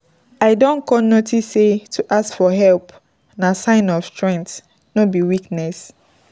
I don con notice sey to ask for help na sign of strength, no be weakness.